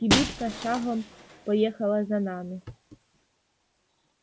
кибитка шагом поехала за нами